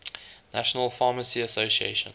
national pharmacy association